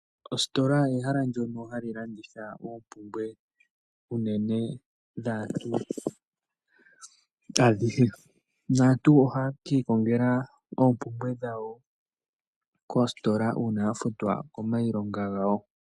Ositola ehala ndyono hali landitha oompumbwe uunene dhaantu adhihe. Naantu ohaye ki kongela oompumbwe dhawo koositola uuna ya futwa komailonga gawo.